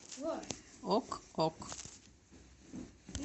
ок ок